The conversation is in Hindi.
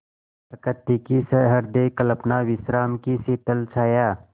प्रकृति की सहृदय कल्पना विश्राम की शीतल छाया